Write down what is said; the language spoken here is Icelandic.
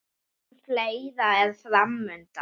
En fleira er fram undan.